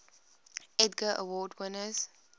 edgar award winners